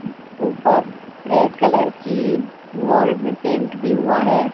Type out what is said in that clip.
ऊपर red colour की wall में पेंट भी हुआ है।